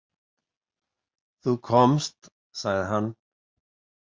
Þú komst, sagði hann.